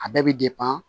A bɛɛ bɛ